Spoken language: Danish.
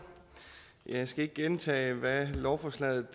jeg skal ikke gentage hvad lovforslaget